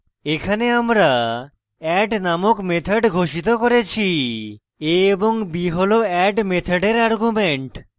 এখানে আমরা add নামক method ঘোষিত করেছি a b হল add মেথডের arguments